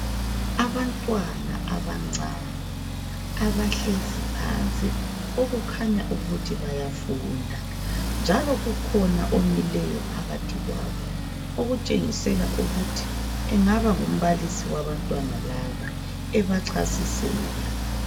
Abantwana abancane abahlezi phansi okukhanya ukuthi bayafunda njalo kukhona omileyo phakathi kwabo okutshengisela ukuthi engaba ngumbalisi wabantwana laba ebachasisela.